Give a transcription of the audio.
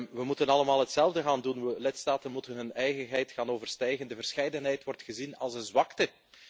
We moeten allemaal hetzelfde gaan doen. Lidstaten moeten hun eigenheid gaan overstijgen. De verscheidenheid wordt gezien als een zwakte.